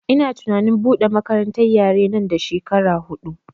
Ina tunanin buɗe makarantar yare nan da shekara huɗu